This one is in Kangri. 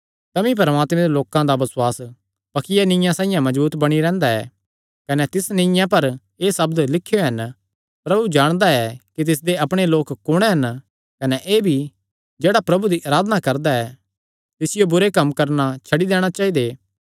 तमी परमात्मे दे लोकां दा बसुआस पक्किया नीआ साइआं मजबूत बणी रैंह्दा ऐ कने तिसा नीआ पर एह़ सब्द लखुयो हन प्रभु जाणदा ऐ कि तिसदे अपणे लोक कुण हन कने एह़ भी जेह्ड़ा प्रभु दी अराधना करदा ऐ तिसियो बुरे कम्म करणा छड्डी दैणे चाइदे